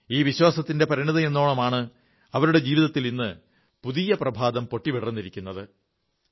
ഈ വിശ്വാസത്തിന്റെ പരിണതിയെന്നോണമാണ് അവരുടെ ജീവിതത്തിൽ ഇന്ന് പുതിയ പ്രഭാതം പൊട്ടിവിടർന്നിരിക്കുന്നത്